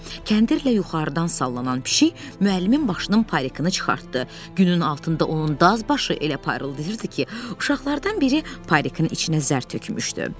Kəndirlə yuxarıdan sallanan pişik müəllimin başının parikini çıxartdı, günün altında onun daz başı elə parıldayırdı ki, uşaqlardan biri parikin içinə zər tökmüşdü.